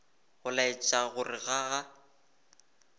go laetša gore ga a